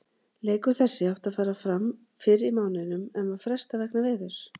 Leikur þessi átti að fara fram fyrr í mánuðinum en var frestað vegna veðurs.